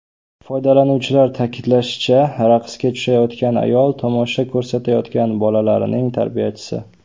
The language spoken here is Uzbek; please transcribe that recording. Foydalanuvchilar ta’kidlashicha, raqsga tushayotgan ayol tomosha ko‘rsatayotgan bolalarning tarbiyachisi.